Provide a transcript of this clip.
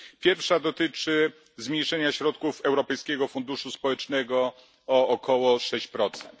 Pierwsza dotyczy zmniejszenia środków Europejskiego Funduszu Społecznego o około sześć procent.